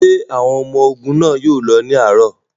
Ṣé àwọn ọmọ ogun náà yóò lọ ní àárọ̀?